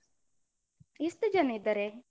ಎಷ್ಟು ಜನ ಇದ್ದಾರೆ?